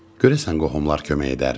Görəsən qohumlar kömək edərmi?